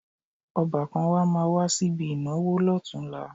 Ọbàkan wa máa wá síbi ìnáwó lọ́tunla